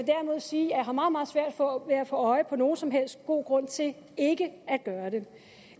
sige at få øje på nogen som helst god grund til ikke at gøre det